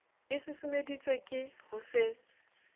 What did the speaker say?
e susumeditswe ke ho se